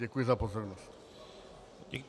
Děkuji za pozornost.